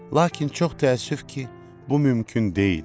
Lakin çox təəssüf ki, bu mümkün deyil.